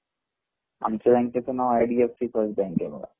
आमच्या बँकेचे नाव आय.डी.एफ.बँक आहे